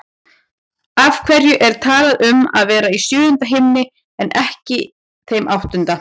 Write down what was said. Af hverju er talað um að vera í sjöunda himni en ekki þeim áttunda?